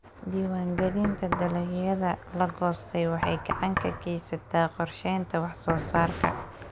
Diiwaangelinta dalagyada la goostay waxay gacan ka geysataa qorsheynta wax-soo-saarka.